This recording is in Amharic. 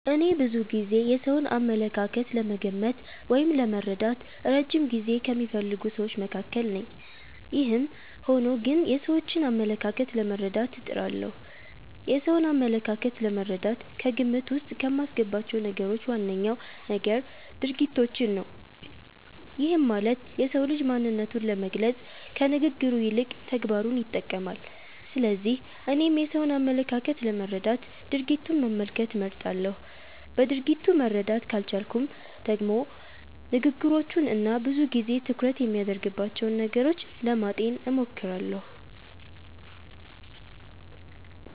እኔ ብዙ ጊዜ የሰውን አመለካከት ለመገመት ወይም ለመረዳት እረጅም ጊዜ ከሚፈልጉ ስዎች መካከል ነኝ። ይህም ሆኖ ግን የሰዎችን አመለካከት ለመረዳት እጥራለሁ። የሰውን አመለካከት ለመረዳት ከግምት ዉስጥ ከማስገባቸው ነገሮች ዋነኛው ነገር ድርጊቶችን ነው። ይህም ማለት የሰው ልጅ ማንነቱን ለመግለፅ ከንግግሩ ይልቅ ተግባሩን ይጠቀማል። ስለዚህ እኔም የሰውን አመለካከት ለመረዳት ድርጊቱን መመልከት እመርጣለሁ። በድርጊቱ መረዳት ካልቻልኩም ደግሞ ንግግሮቹን እና ብዙ ጊዜ ትኩረት የሚያደርግባቸውን ነገሮች ለማጤን እሞክራለሁ።